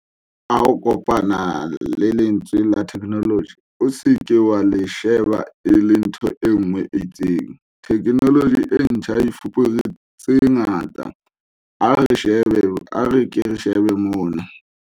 Ha o kopana le lentswe la theknoloji, o se ke wa le sheba e le ntho e nngwe e itseng. Theknoloji e ntjha e fupere tse ngata. A re ke re shebe mona.